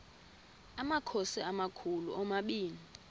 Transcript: amakhosi amakhulu omabini